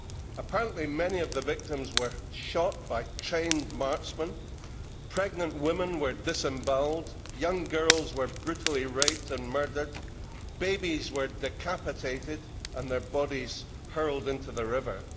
Apparently, many of the victims were shot by trained marksmen, pregnant women were disembowelled, young girls were brutally raped and murdered, and babies were decapitated and their bodies hurled into the river.